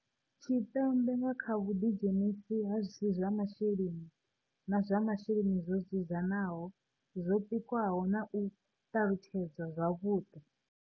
Tshipembe nga kha vhuḓidzhenisi ha zwi si zwa masheleni na zwa masheleni zwo dzudzanaho, zwo pikwaho na u ṱalutshedzwa zwavhuḓi.